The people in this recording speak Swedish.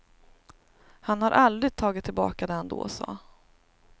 Han har aldrig tagit tillbaka det han då sa.